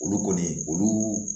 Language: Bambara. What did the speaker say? Olu kɔni olu